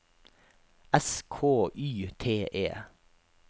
S K Y T E